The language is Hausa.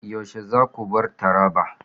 Yaushe za ku bar Taraba?